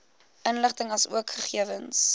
inligting asook gegewens